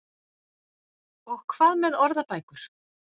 Og hvað með orðabækur?